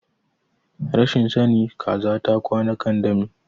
Rashin sani kaza ta kwana akan dami